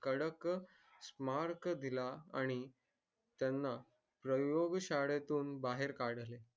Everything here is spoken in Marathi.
ठळक mark दिला आणि त्याना प्रयोग शाळेतून बाहेर काढले